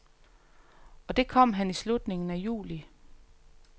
Og det kom han i slutningen af juli.